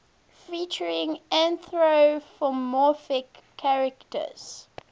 featuring anthropomorphic characters